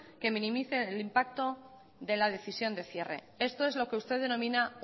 que minimice el impacto de la decisión de cierre esto es lo que usted denomina